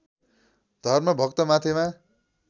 Dharmabhakta Mathema